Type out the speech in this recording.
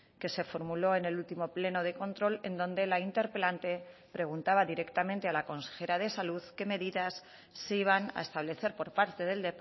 que se formuló en el último pleno de control en donde la interpelante preguntaba directamente a la consejera de salud qué medidas se iban a establecer por parte del